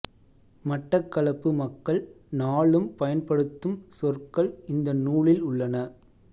மட்டக்களப்பு மக்கள் நாளும் பயன்படுத்தும் சொற்கள் இந்த நூலில் உள்ளன